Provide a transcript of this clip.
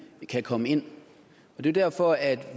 kan komme ind det er derfor at